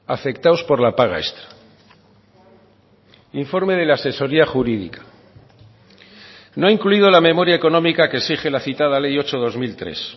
afectados por la paga extra informe de la asesoría jurídica no ha incluido la memoria económica que exige la citada ley ocho barra dos mil tres